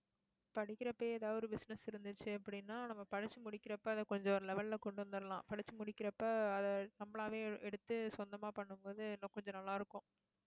படிக்கிறப்ப எதாவது ஒரு business இருந்துச்சு அப்படின்னா நம்ம படிச்சு முடிக்கிறப்ப அதை கொஞ்சம் ஒரு level ல கொண்டு வந்தரலாம். படிச்சு முடிக்கிறப்ப அதை நம்மளாவே எடுத்து சொந்தமா பண்ணும் போது, இன்னும் கொஞ்சம் நல்லா இருக்கும்